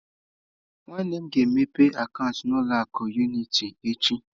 Nwannem ga-emepe akaụntụ na ụlọ akụ unịtị echi.